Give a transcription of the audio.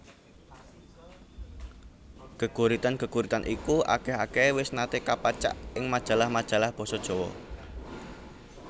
Geguritan geguritan iku akeh akehe wis nate kapacak ing majalah majalah basa Jawa